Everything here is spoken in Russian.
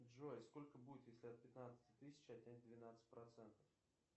джой сколько будет если от пятнадцати тысяч отнять двенадцать процентов